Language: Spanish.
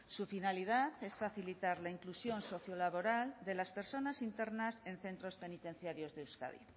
su finalidad es facilitar la inclusión sociolaboral de las personas internas en centros penitenciarios de euskadi